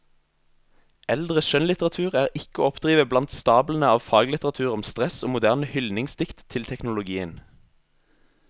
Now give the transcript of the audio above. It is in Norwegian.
Eldre skjønnlitteratur er ikke å oppdrive blant stablene av faglitteratur om stress og moderne hyldningsdikt til teknologien.